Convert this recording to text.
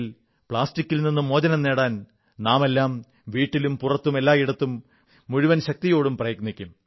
പ്ലാസ്റ്റിക്കിൽ നിന്ന് മോചനം നേടാൻ നാമെല്ലാം വീട്ടിലും പുറത്തും എല്ലായിടത്തും മുഴുവൻ ശക്തിയോടും പ്രയത്നിക്കും